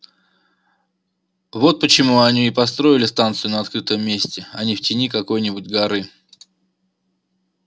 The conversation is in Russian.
вот почему они и построили станцию на открытом месте а не в тени какой-нибудь горы